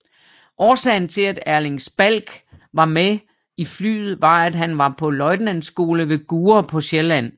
Årsagen til at Erling Spalk var med i flyet var at han var på løjtnantskole ved Gurre på Sjælland